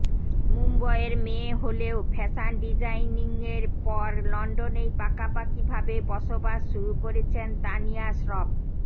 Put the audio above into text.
মুম্বইয়ের মেয়ে হলেও ফ্যাশন ডিজাইনিংয়ের পর লন্ডনেই পাকাপাকিভাবে বসবাস শুরু করেছেন তানিয়া শ্রফ